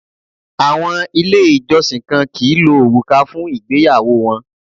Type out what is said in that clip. Àwọn Ilé ìjọsìn kan kìí lo òrùka fún ìgbéyàwó wọn